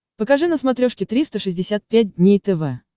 покажи на смотрешке триста шестьдесят пять дней тв